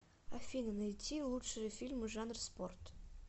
афина найти лучшие фильмы жанр спорт